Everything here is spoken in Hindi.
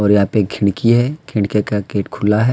यहाँ पे खिड़कि है खिड़कियाँ का गेट खुला है।